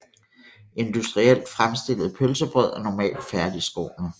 Industrielt fremstillede pølsebrød er normalt færdigskårne